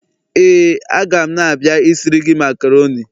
Éè, a ga m na-abia isiri gi macaroni.